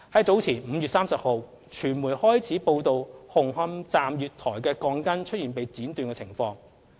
早前在5月30日，傳媒開始報道紅磡站月台鋼筋出現被剪短的情況。